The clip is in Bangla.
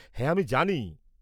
হ্যাঁ, আমি জানি।